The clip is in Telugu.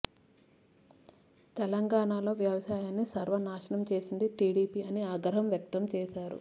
తెలంగాణలో వ్యవసాయాన్ని సర్వ నాశనం చేసిందే టీడీపీ అని ఆగ్రహం వ్యక్తం చేశారు